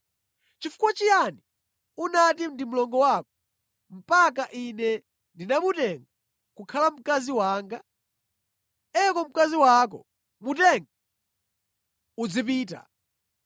Nʼchifukwa chiyani unati ndi mlongo wako, mpaka ine ndinamutenga kukhala mkazi wanga? Eko mkazi wako. Mutenge uzipita!”